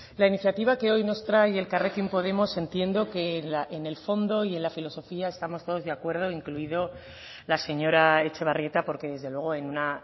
la iniciativa que hoy nos trae elkarrekin podemos entiendo que en el fondo y en la filosofía estamos todos de acuerdo incluido la señora etxebarrieta porque desde luego en una